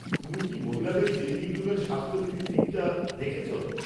তুমি কি মহিলাদের চেঞ্জিং রুমের স্বাস্থ্যবিধির দিকটি দেখেছ?